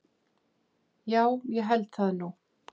Já ég held það nú.